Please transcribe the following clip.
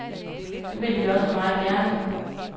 Det ville vi også meget gerne.